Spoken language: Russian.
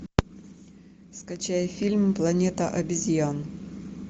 скачай фильм планета обезьян